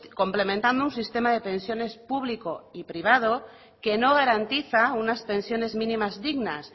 complementando un sistema de pensiones público y privado que no garantiza unas pensiones mínimas dignas